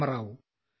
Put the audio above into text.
Rama Rao